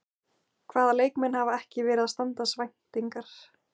Hvaða leikmenn hafa ekki verið að standast væntingar?